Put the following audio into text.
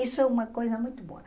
Isso é uma coisa muito boa.